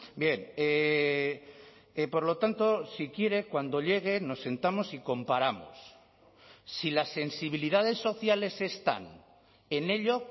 bien por lo tanto si quiere cuando llegue nos sentamos y comparamos si las sensibilidades sociales están en ello